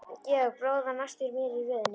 Georg bróðir var næstur mér í röðinni.